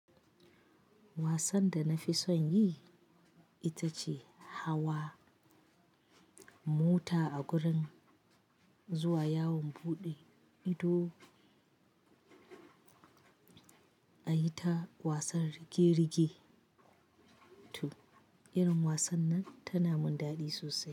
Wasan da na fi son yi ita ce hawa mota a gurin zuwa yawon buɗe ido. A yi ta wasan rige-rige to, irin wasan nan tana mun daɗi sosai.